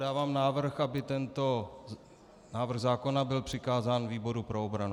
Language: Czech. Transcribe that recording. Dávám návrh, aby tento návrh zákona byl přikázán výboru pro obranu.